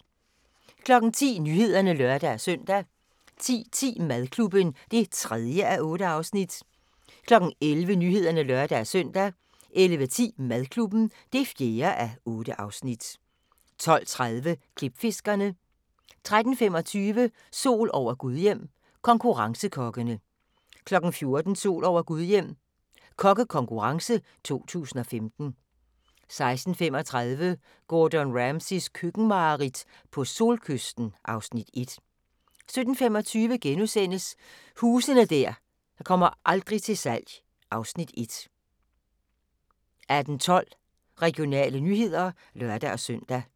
10:00: Nyhederne (lør-søn) 10:10: Madklubben (3:8) 11:00: Nyhederne (lør-søn) 11:10: Madklubben (4:8) 12:30: Klipfiskerne 13:25: Sol over Gudhjem – konkurrencekokkene 14:00: Sol over Gudhjem – kokkekonkurrence 2015 16:35: Gordon Ramsays køkkenmareridt - på solkysten (Afs. 1) 17:25: Huse der aldrig kommer til salg (Afs. 1)* 18:12: Regionale nyheder (lør-søn)